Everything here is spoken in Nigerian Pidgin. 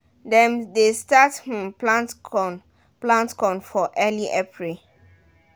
dem de start um plant corn plant corn for early april